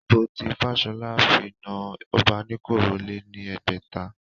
Ìbò tí Fashola fi na Obanikoro lé ní ẹgbẹ̀ta